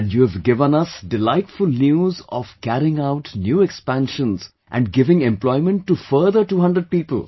And you have given us delightful news of carrying out new expansions and giving employment to further 200 people